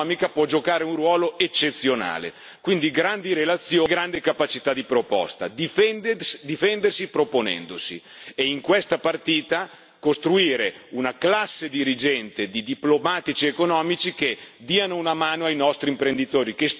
Quindi grandi relazioni e grande capacità di proposta, difendersi proponendosi, e in questa partita costruire una classe dirigente di diplomatici economici che diano una mano ai nostri imprenditori che storicamente ci hanno rappresentato nel mondo.